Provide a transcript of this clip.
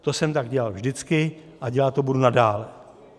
To jsem tak dělal vždycky a dělat to budu nadále.